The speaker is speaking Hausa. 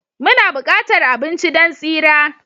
Muna buƙatar abinci don tsira